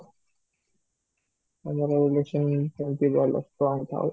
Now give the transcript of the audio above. ତମର relation ସେମିତି ଭଲ strong ଥାଉ